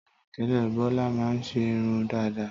Télètélè, Bọ́lá ma n ṣe irun dàda